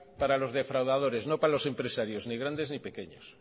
para los defraudadores no para los empresarios ni grandes ni pequeños